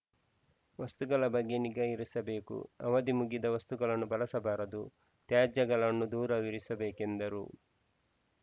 ವಸ್ತುಗಳ ಬಗ್ಗೆ ನಿಗಾ ಇರಿಸಬೇಕು ಅವಧಿ ಮುಗಿದ ವಸ್ತುಗಳನ್ನು ಬಳಸಬಾರದು ತ್ಯಾಜ್ಯಗಳನ್ನು ದೂರವಿರಿಸಬೇಕೆಂದರು